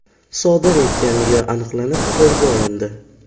sodir etganligi aniqlanib, qo‘lga olindi.